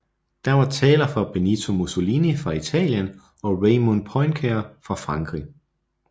Der var taler fra Benito Mussolini fra Italien og Raymond Poincaré fra Frankrig